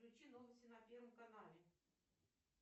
включи новости на первом канале